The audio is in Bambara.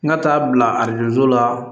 N ka taa bila arajo so la